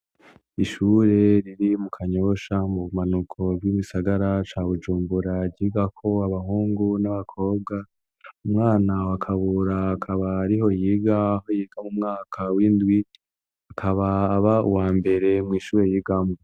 Ishure riri mu kanyosha mu bumanuko vy'ibisagara ca bujumguragiga ko abahungu n'abakobwa umwana wakabura akaba ariho yiga aho yiga mu mwaka w'indwit akaba aba uwa mbere mw'ishure yigambuwa.